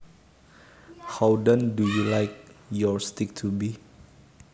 How done do you like your steak to be